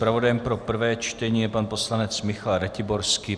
Zpravodajem pro prvé čtení je pan poslanec Michal Ratiborský.